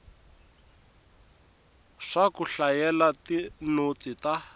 swa ku hlayela tinotsi ta